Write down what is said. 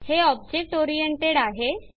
हे object oriented आहे